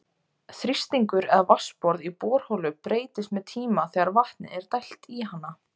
Þrýstingur eða vatnsborð í borholu breytist með tíma þegar vatni er dælt í hana.